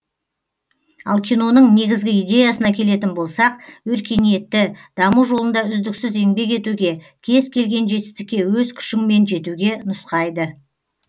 ал киноның негізгі идеясына келетін болсақ өркениетті даму жолында үздіксіз еңбек етуге кез келген жетістікке өз күшіңмен жетуге нұсқайды